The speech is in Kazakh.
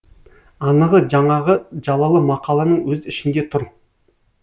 анығы жаңағы жалалы мақаланың өз ішінде тұр